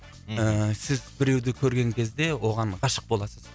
ііі сіз біреуді көрген кезде оған ғашық боласыз